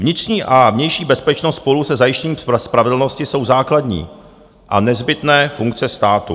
Vnitřní a vnější bezpečnost spolu se zajištěním spravedlnosti jsou základní a nezbytné funkce státu.